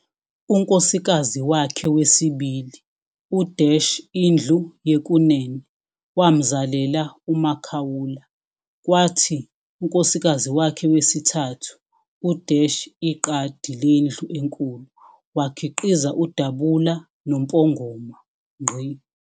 Unkosikazi wakhe wesibili, u-Indlu yekunene, wamzalela uMakaula, kwathi unkosikazi wakhe wesithathu u-Iqadi lendlu enkulu, wakhiqiza uDabula noMpongoma.